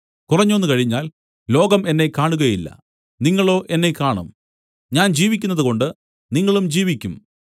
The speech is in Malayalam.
കുറഞ്ഞോന്നു കഴിഞ്ഞാൽ ലോകം എന്നെ കാണുകയില്ല നിങ്ങളോ എന്നെ കാണും ഞാൻ ജീവിക്കുന്നതുകൊണ്ട് നിങ്ങളും ജീവിക്കും